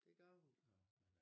Det gør hun